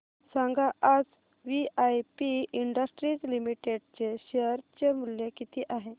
सांगा आज VIP industries limited चे शेअर चे मूल्य किती आहे